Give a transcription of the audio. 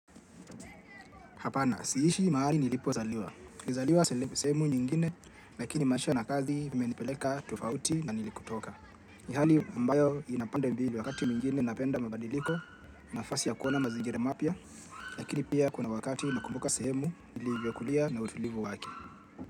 Hapana, siishi mahali nilipozaliwa. Nilizaliwa sehemu nyingine, lakini maisha na kazi imenipeleka tofauti na nilikotoka. Ni hali ambayo ina pande mbili wakati nyingine napenda mabadiliko, nafasi ya kuona mazingira mapya, lakini pia kuna wakati nakumbuka sehemu, nilivyokulia na utulivu wake.